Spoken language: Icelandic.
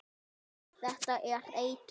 Þetta er eitur.